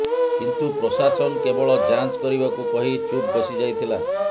କିନ୍ତୁ ପ୍ରଶାସନ କେବଳ ଯାଞ୍ଚ କରିବାକୁ କହି ଚୁପ୍ ବସିଯାଇଥିଲା